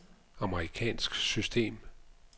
amerikansk system